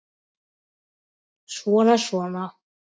Svona. svona